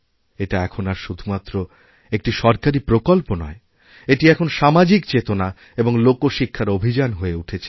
এটা এখন আর শুধুমাত্র একটি সরকারিপ্রকল্প নয় এটি এখন সামাজিক চেতনা এবং লোকশিক্ষার অভিযান হয়ে উঠেছে